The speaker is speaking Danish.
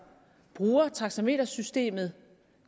bruger taxametersystemet